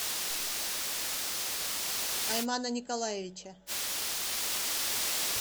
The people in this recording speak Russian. аймана николаевича